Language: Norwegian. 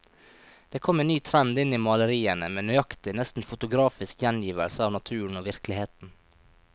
Det kom en ny trend inn i maleriene, med nøyaktig, nesten fotografisk gjengivelse av naturen og virkeligheten.